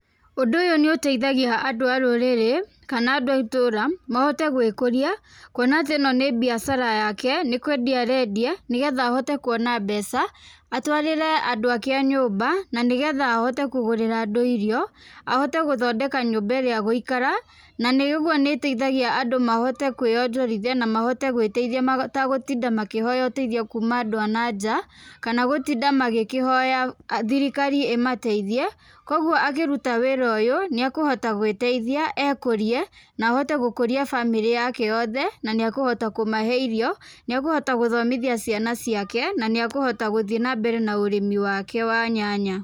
Ũndũ ũyũ nĩ ũteithagia andũ a rũrĩrĩ kana andũ a itũũra mahote gwĩkũria kuona atĩ ĩ no nĩ biacara yake, nĩkũendia arendia nĩgetha ahote kuona mbeca atũarĩre andũ ake a nyũmba na nĩgetha ahote kũgũrĩra andũ irio, ahote gũthondeka nyũmba ĩrĩa egũikara na nĩ ũguo nĩĩteithagia andũ mahote kwĩyothorithia mahote gwĩteithia mategũtinda makĩhoya ũteithio kuuma andũ a na nja kana gũtinda magĩkĩhoya thirikari ĩmateithie, kogwo angĩruta wĩra ũyũ nĩekũhota gwĩteithia ekũrie na hote gũkũria bamĩrĩ yake yothe na nĩekũhote kũmahe irio, nĩekũhota gũthomithia ciana ciake na nĩekuhota gũthiĩ na mbere na ũrĩmi wake wa nyanya.